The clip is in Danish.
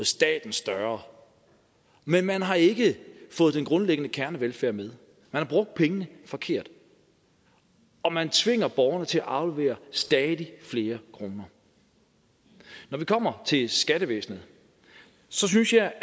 staten større men man har ikke fået den grundlæggende kernevelfærd med man har brugt pengene forkert og man tvinger borgerne til at aflevere stadig flere kroner når vi kommer til skattevæsenet synes jeg